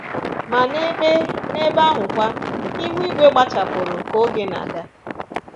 Ma n’ebe n’ebe ahụkwa, ihu igwe gbachapụrụ ka oge na-aga